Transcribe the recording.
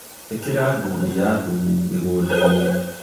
Īkĩra ngundi ya thumu mĩgũnda-inĩ